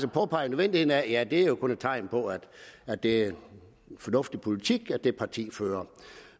påpegede nødvendigheden af at er jo kun et tegn på at det er fornuftig politik det parti fører